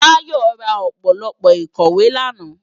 Tayo rá ópólópó ikòwé làná